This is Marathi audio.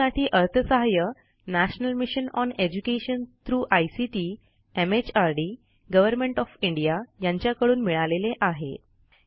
यासाठी अर्थसहाय्य national mission on education through ICT mhrdगव्हर्नमेंट ओएफ इंडिया यांच्याकडून मिळालेले आहे